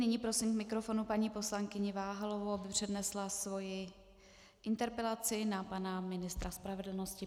Nyní prosím k mikrofonu paní poslankyni Váhalovou, aby přednesla svoji interpelaci na pana ministra spravedlnosti.